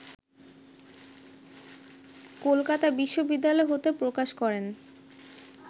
কলকাতা বিশ্ববিদ্যালয় হতে প্রকাশ করেন